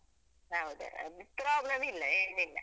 ಹೌದು ಅದ್ problem ಇಲ್ಲ ಏನಿಲ್ಲ.